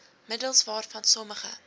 middels waarvan sommige